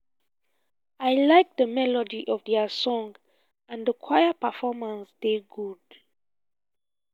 i like the melody of their song and the choir performance dey good